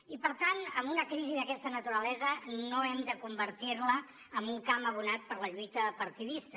i per tant una crisi d’aquesta naturalesa no hem de convertir la en un camp abonat per a la lluita partidista